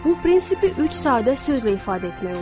Bu prinsipi üç sadə sözlə ifadə etmək olar.